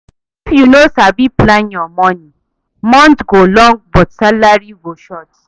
If you no sabi plan your money, month go long but salary go short.